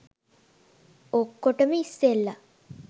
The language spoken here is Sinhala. ඔක්කොටම ඉස්සෙල්ලා